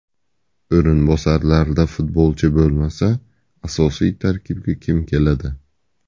O‘rinbosarlarda futbolchi bo‘lmasa, asosiy tarkibga kim keladi?